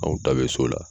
Anw ta bɛ so la